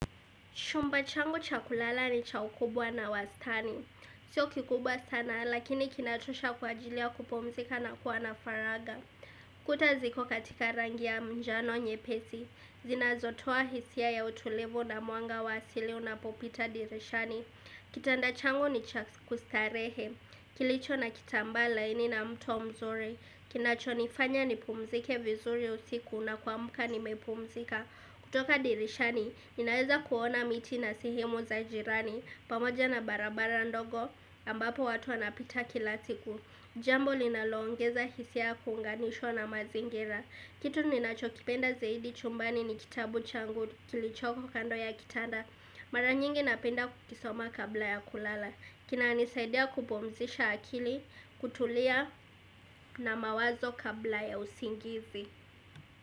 Chumba changu cha kulala ni cha ukubwa na wastani Sio kikubwa sana lakini kinatosha kwa ajilia kupumzika na kuwa na faraga Kuta ziko katika rangi ya njano nyepesi zinazotoa hisia ya utulivu na mwanga wa asili unapopita dirishani Kitanda changu ni cha kustarehe Kilicho na kitambaa laini na mto mzuri kinachonifanya nipumzike vizuri usiku na kuamka nimepumzika kutoka dirishani, ninaweza kuona miti na sehemu za jirani pamoja na barabara ndogo ambapo watu wanapita kila siku. Jambo linaloongeza hisia ya kunganishwa na mazingira. Kitu ninachokipenda zaidi chumbani ni kitabu changu kilichoko kando ya kitanda. Mara nyingi napenda kukisoma kabla ya kulala. Kinanisaidia kupumzisha akili kutulia na mawazo kabla ya usingizi.